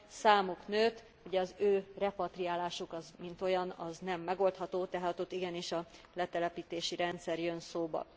Számuk nőtt, ugye az ő repatriálásuk, az mint olyan, az nem megoldható, tehát ott igenis a letelepítési rendszer jön szóba.